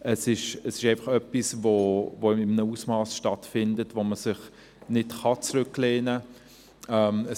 das ist etwas, das in einem Ausmass stattfindet, bei dem man sich nicht zurücklehnen kann.